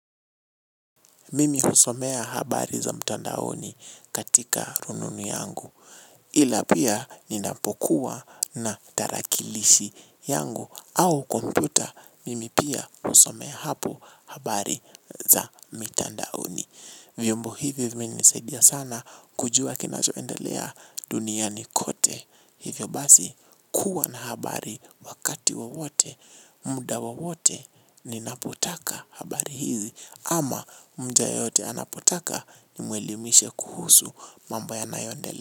Mimi husomea habari za mtandaoni katika rununu yangu. Ila pia ninapokuwa na tarakilishi yangu au kompyuta, mimi pia husomea hapo habari za mitandaoni. Vyombo hivyo vimenisaidia sana kujua kinachoendelea duniani kote. Hivyo basi kuwa na habari wakati wowote. Muda wowote ninapotaka habari hizi ama mja yoyote anapotaka ni mwelimishe kuhusu mambo ya nayoendelea.